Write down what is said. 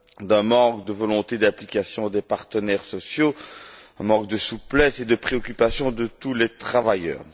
d'un manque de volonté d'implication des partenaires sociaux, et d'un manque de souplesse et de préoccupation à l'égard de tous les travailleurs.